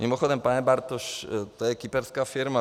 Mimochodem, pane Bartoš, to je kyperská firma.